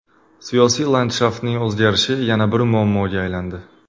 Siyosiy landshaftning o‘zgarishi yana bir muammoga aylandi.